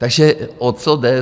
Takže o co jde.